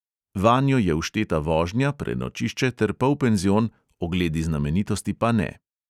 Vanjo je všteta vožnja, prenočišče ter polpenzion, ogledi znamenitosti pa ne.